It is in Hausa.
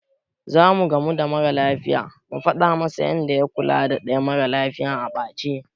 Zamu gamu da mara lafiyar mu faɗa masa yanda ya kula da ɗaya mara lafiyar a ɓace.